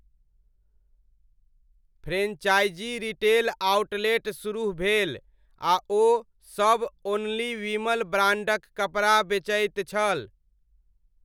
Franchise retail outlet सुरुह भेल आ ओ सब 'ओनली विमल ' ब्राण्डक कपड़ा बेचैत छल।